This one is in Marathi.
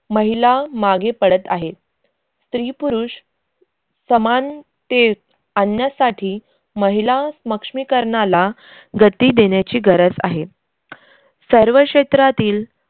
महिला मागे पडत आहेत. स्त्री-पुरुष समानते आणण्यासाठी महिला स्मक्ष्मीकरनाला गती देण्याची गरज आहे. सर्व क्षेत्रातील